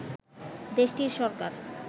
দেশটির সরকার